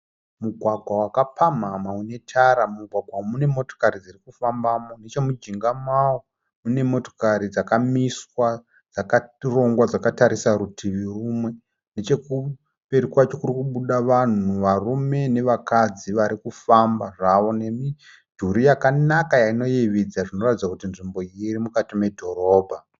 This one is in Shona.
Mugwagwa wakapamhamha une tara. Mumugwagwa umu mune motokari dziri kufambamo. Nechemujinga mawo mune motokari dzakamiswa dzakarongwa dzakatarisa rutivi rumwe. Nechekumberi kwacho kuri kubuda vanhu varume nevakadzi vari kufamba zvavo nemidhuri yakanaka inoyevedza inoratidza kuti nzvimbo iyi iri mukati medhorobha.